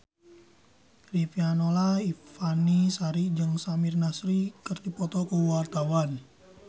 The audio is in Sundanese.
Riafinola Ifani Sari jeung Samir Nasri keur dipoto ku wartawan